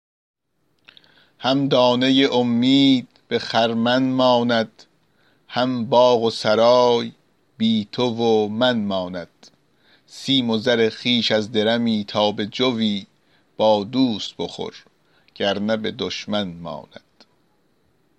هم دانه امید به خرمن ماند هم باغ و سرای بی تو و من ماند سیم و زر خویش از درمی تا به جوی با دوست بخور گرنه به دشمن ماند